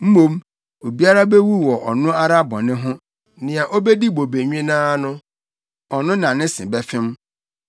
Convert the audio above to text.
Mmom, obiara bewu wɔ ɔno ara bɔne ho; nea obedi bobe nwennaa no ɔno na ne se bɛfem.